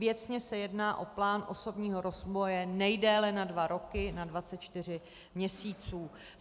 Věcně se jedná o plán osobního rozvoje nejdéle na dva roky, na 24 měsíců.